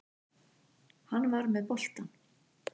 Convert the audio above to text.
Hann var með boltann.